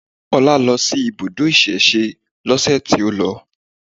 Ọlá lọ sí ibùdó ìsẹ̀se lọ́sẹ̀ tí ó lọ